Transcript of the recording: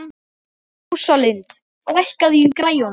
Eyrún, pantaðu tíma í klippingu á mánudaginn.